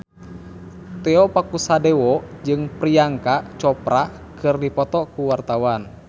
Tio Pakusadewo jeung Priyanka Chopra keur dipoto ku wartawan